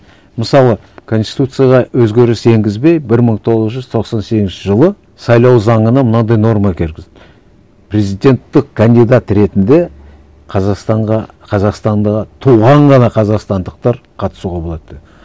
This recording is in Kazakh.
мысалы конституцияға өзгеріс енгізбей бір мың тоғыз жүз тоқсан сегізінші жылы сайлау заңына мынандай норма кіргізді президенттік кандидат ретінде қазақстанға қазақстанда туған ғана қазақстандықтар қатысуға болады